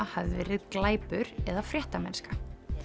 hafi verið glæpur eða fréttamennska